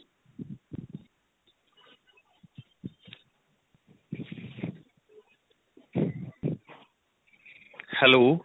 hello